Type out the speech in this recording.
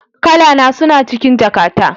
Kalana suna cikin jakata